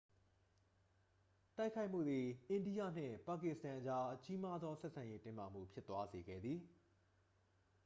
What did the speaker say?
တိုက်ခိုက်မှုသည် အိန္ဒိယနှင့် ပါကစ္စတန်အကြား ကြီးမားသောဆက်ဆံရေး တင်းမာမှုဖြစ်သွားစေခဲ့သည်